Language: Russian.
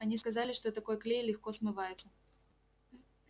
они сказали что такой клей легко смывается